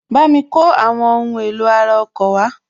Bámi kó àwọn ohun èlò ara ọkọ̀ wá